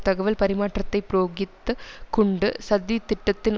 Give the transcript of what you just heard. தகவல் பரிமாற்றத்தை புரோகித்து குண்டு சதி திட்டத்தின்